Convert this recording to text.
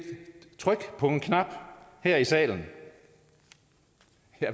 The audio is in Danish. tryk på en knap her i salen